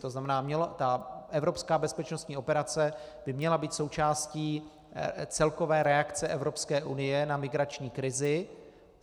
To znamená ta evropská bezpečnostní operace by měla být součástí celkové reakce Evropské unie na migrační krizi.